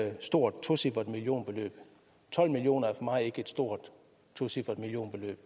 et stort tocifret millionbeløb tolv million kroner er for mig ikke et stort tocifret millionbeløb